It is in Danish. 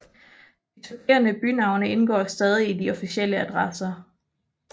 De supplerende bynavne indgår stadig i de officielle adresser